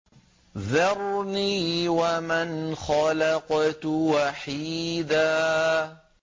ذَرْنِي وَمَنْ خَلَقْتُ وَحِيدًا